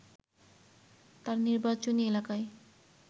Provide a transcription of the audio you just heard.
তার নির্বাচনী এলাকায়